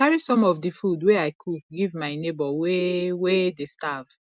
i carry some of di food wey i cook give my nebor wey wey dey starve